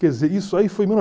isso aí foi